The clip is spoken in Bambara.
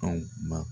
Anw ba